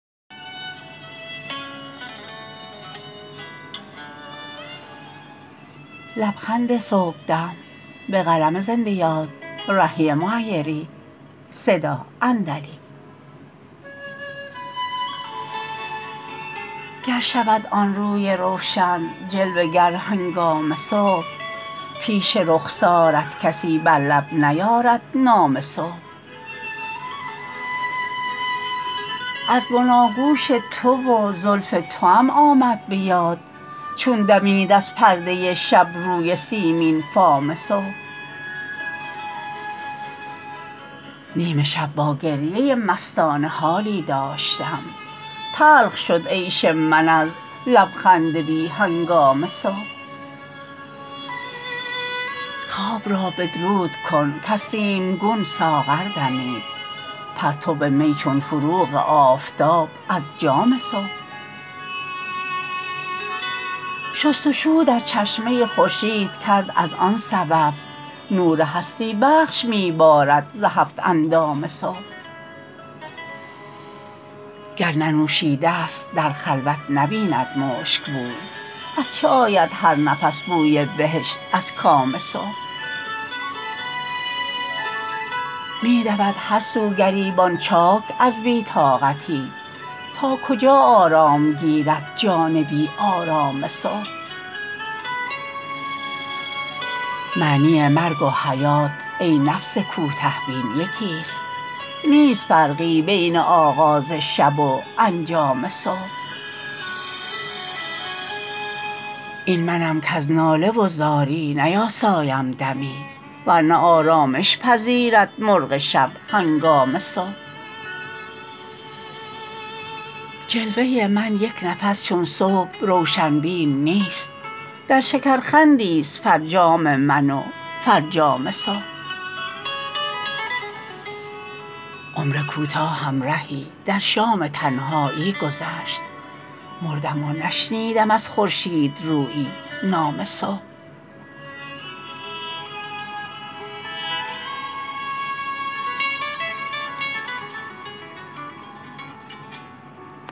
گر شود آن روی روشن جلوه گر هنگام صبح پیش رخسارت کسی بر لب نیارد نام صبح از بناگوش تو و زلف توام آمد به یاد چون دمید از پرده شب روی سیمین فام صبح نیم شب با گریه مستانه حالی داشتم تلخ شد عیش من از لبخند بی هنگام صبح خواب را بدرود کن کز سیمگون ساغر دمید پرتو می چون فروغ آفتاب از جام صبح شست وشو در چشمه خورشید کرد از آن سبب نور هستی بخش می بارد ز هفت اندام صبح گر ننوشیده است در خلوت نبید مشک بوی از چه آید هر نفس بوی بهشت از کام صبح می دود هرسو گریبان چاک از بی طاقتی تا کجا آرام گیرد جان بی آرام صبح معنی مرگ و حیات ای نفس کوته بین یکیست نیست فرقی بین آغاز شب و انجام صبح این منم کز ناله و زاری نیاسایم دمی ورنه آرامش پذیرد مرغ شب هنگام صبح جلوه من یک نفس چون صبح روشن بیش نیست در شکرخندی است فرجام من و فرجام صبح عمر کوتاهم رهی در شام تنهایی گذشت مردم و نشنیدم از خورشیدرویی نام صبح